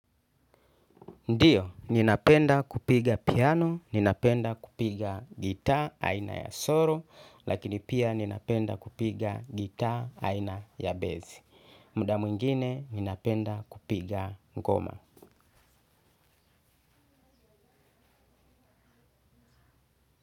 Ndiyo, ninapenda kupiga piano, ninapenda kupiga gitaa aina ya soro, lakini pia ninapenda kupiga gitaa aina ya bezi. Mda mwingine, ninapenda kupiga ngoma.